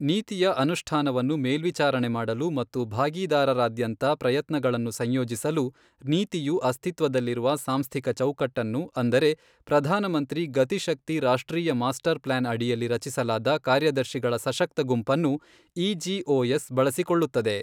ನೀತಿಯ ಅನುಷ್ಠಾನವನ್ನು ಮೇಲ್ವಿಚಾರಣೆ ಮಾಡಲು ಮತ್ತು ಭಾಗೀದಾರರಾದ್ಯಂತ ಪ್ರಯತ್ನಗಳನ್ನು ಸಂಯೋಜಿಸಲು, ನೀತಿಯು ಅಸ್ತಿತ್ವದಲ್ಲಿರುವ ಸಾಂಸ್ಥಿಕ ಚೌಕಟ್ಟನ್ನು ಅಂದರೆ ಪ್ರಧಾನಮಂತ್ರಿ ಗತಿಶಕ್ತಿ ರಾಷ್ಟ್ರೀಯ ಮಾಸ್ಟರ್ ಪ್ಲಾನ್ ಅಡಿಯಲ್ಲಿ ರಚಿಸಲಾದ ಕಾರ್ಯದರ್ಶಿಗಳ ಸಶಕ್ತ ಗುಂಪನ್ನು ಇಜಿಒಎಸ್ ಬಳಸಿಕೊಳ್ಳುತ್ತದೆ.